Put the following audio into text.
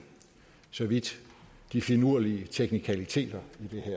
så vidt de finurlige teknikaliteter